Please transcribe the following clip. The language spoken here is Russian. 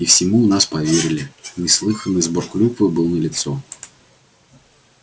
и всему у нас поверили неслыханный сбор клюквы был налицо